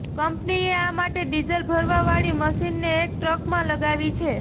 કંપનીએ આ માટે ડીઝલ ભરવા વાળી મશીનને એક ટ્રકમાં લગાવી છે